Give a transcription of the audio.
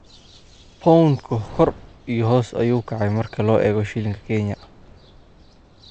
pound-ku kor iyo hoos ayuu u kacay marka loo eego shilinka Kenya